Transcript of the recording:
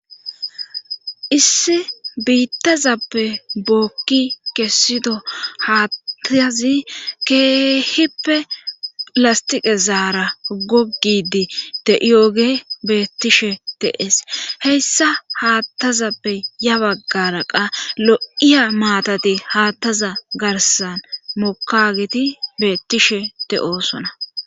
Issi biittazappe bookki kessido haattazi keehippe lastiqe zaara gogidi de'iyoge beettishe teees heyssa haattazappe ya baggara qa lo7iya maatati haattaza garsan mokageti beettishe te'oosona.